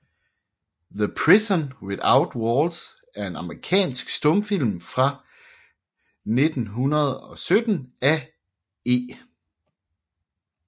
The Prison Without Walls er en amerikansk stumfilm fra 1917 af E